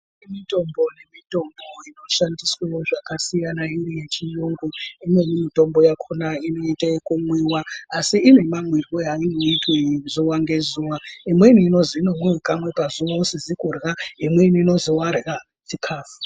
Kune mitombo nemitombo inoshandiswe zvakasiyana iri yechiyungu. Imweni mitombo yakhona inoita ekumwiwa asi ine mamwirwe einoitwe zuwa ngezuwa. Imweni inozi inomwiwe kamwe pazuwa usizi kurya, imweni inozi warya chikhafu.